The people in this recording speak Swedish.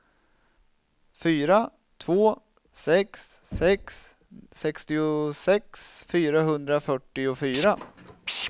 fyra två sex sex sextiosex fyrahundrafyrtiofyra